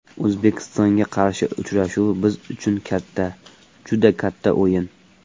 O‘zbekistonga qarshi uchrashuv biz uchun katta, juda katta o‘yin.